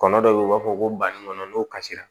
Kɔnɔ dɔw bɛ yen u b'a fɔ ko banikɔnɔ n'o kasira